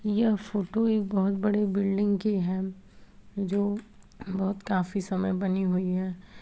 यह फोटो एक बहोत बड़े बिल्डिंग की है जो बहोत काफी समय बनी हुई है।